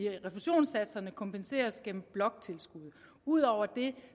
refusionssatser kompenseres gennem bloktilskuddet ud over det